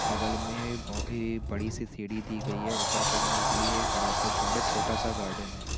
बगल में ऐ बड़ी-सी सीढ़ी दी गई हैं ऊपर चगने के लिए एक बड़ा-सा छड़ हैं छोटा-सा गार्डन हैं।